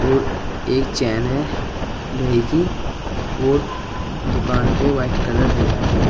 और एक चैन है लोहे की और दुकान पे वाइट कलर हो रहा है।